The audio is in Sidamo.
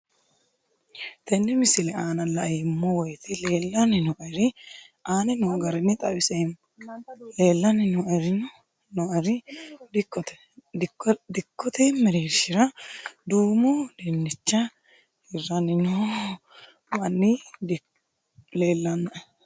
Tenne misile aana laeemmo woyte leelanni noo'ere aane noo garinni xawiseemmo. Leelanni noo'erri dikkote mereerishshira duumo dinnichcha hirranni noo manni leelanoe.